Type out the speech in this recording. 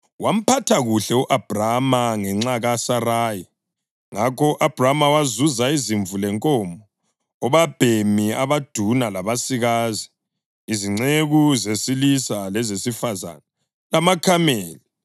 Wamphatha kuhle u-Abhrama ngenxa kaSarayi, ngakho u-Abhrama wazuza izimvu lenkomo, obabhemi abaduna labasikazi, izinceku zesilisa lezesifazane lamakamela.